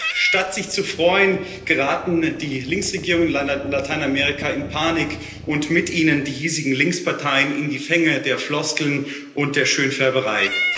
Doch statt sich zu freuen, geraten die Linksregierungen in Lateinamerika in Panik, und mit ihnen geraten die hiesigen Linksparteien in die Fänge der Floskeln und der Schönfärberei.